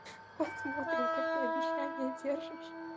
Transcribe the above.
посмотрим как ты обещание держишь